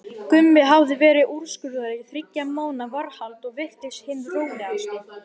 Gummi hafði verið úrskurðaður í þriggja mánaða varðhald og virtist hinn rólegasti.